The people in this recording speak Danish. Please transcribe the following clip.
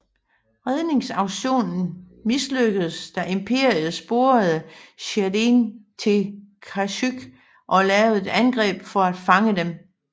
Redningsaktionen mislykkedes da Imperiet sporede Jedierne til Kashyyyk og lavede et angreb for at fange dem